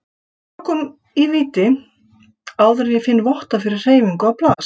tökum í víti áður en ég finn votta fyrir hreyfingu á plast